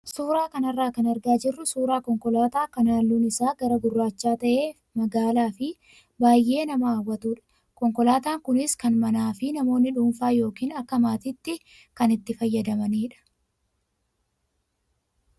Suuraa kanarraa kan argaa jirru suuraa konkolaataa kan halluun isaa gara gurraachaa ta'e magaalaa fi baay'ee nama hawwatudha. Konkolaataan kunis kan manaa fi namoonni dhuunfaan yookaan akka maatiitti kan itti fayyadamanidha.